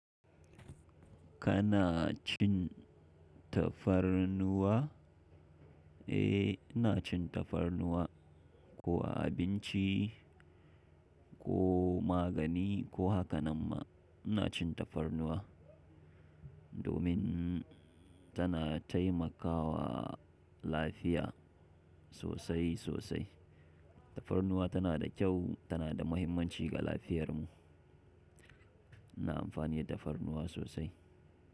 Kana cin tafarnuwa? Eh, ina cin tafarnuwa ko a abinci ko magani ko haka nan ma ina cin tafarnuwa domin tana taimakawa lafiya sosai sosai. Tafarnuwa tana da kyau, tana da mahimmanci ga lafiyarmu. Ina amfani da tafarnuwa sosai.